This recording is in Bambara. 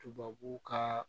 Tubabu ka